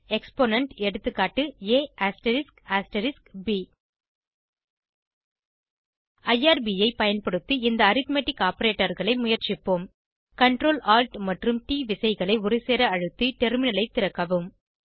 Exponent160 எகா ab IRB ஐ பயன்படுத்தி இந்த அரித்மெட்டிக் operatorகளை முயற்சிப்போம் Ctrl Alt மற்றும் ட் விசைகளை ஒருசேர அழுத்தி டெர்மினலை திறக்கவும்